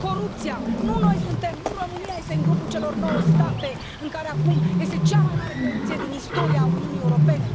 Corupția nu România este în grupul celor nouă state în care acum este cea mai mare corupție din istoria Uniunii Europene.